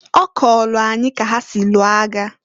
Ọ kọọlụ anyị ka ha si lụọ agha.